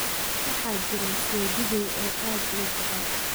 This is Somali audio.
Waxaa jira seedigey oo aad ii jecel